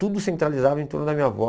Tudo centralizava em torno da minha avó.